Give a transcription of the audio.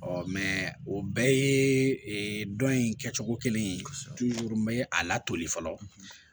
o bɛɛ yee dɔn in kɛcogo kelen ye n bɛ a la toli fɔlɔ